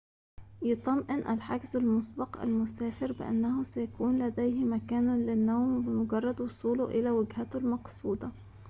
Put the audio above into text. يُطمئن الحجزُ المُسبق المسافرَ بأنّه سيكونُ لديه مكانٌ للنوم بمجرّد وصوله إلى وجهتهِ المقصودةِ